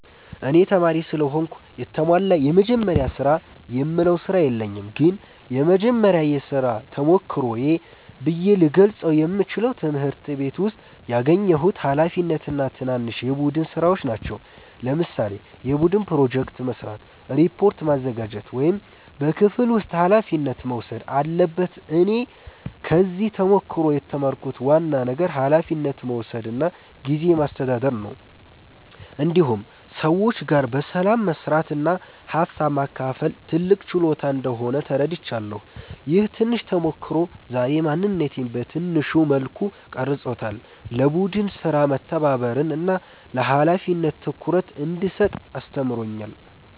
እኔ ተማሪ ስለሆንኩ የተሟላ “የመጀመሪያ ስራ”የምለው ስራ የለኝም ግን የመጀመሪያ የሥራ ተሞክሮዬ ብዬ ልገልጸው የምችለው ትምህርት ቤት ውስጥ ያገኘሁት ኃላፊነት እና ትናንሽ የቡድን ሥራዎች ናቸው። ለምሳሌ የቡድን ፕሮጀክት መስራት፣ ሪፖርት ማዘጋጀት ወይም በክፍል ውስጥ ኃላፊነት መውሰድ አለበት እኔ ከዚህ ተሞክሮ የተማርኩት ዋና ነገር ኃላፊነት መውሰድ እና ጊዜ ማስተዳደር ነው። እንዲሁም ሰዎች ጋር በሰላም መስራት እና ሀሳብ ማካፈል ትልቅ ችሎታ እንደሆነ ተረድቻለሁ። ይህ ትንሽ ተሞክሮ ዛሬ ማንነቴን በትንሹ መልኩ ቀርጾታል፤ ለቡድን ሥራ መተባበርን እና ለኃላፊነት ትኩረት እንድሰጥ አስተምሮኛል።